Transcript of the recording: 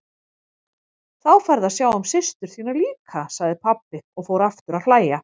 Þá færðu að sjá systur þína líka, sagði pabbi og fór aftur að hlæja.